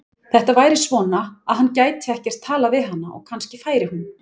Þetta væri svona, að hann gæti ekkert talað við hana og kannski færi hún.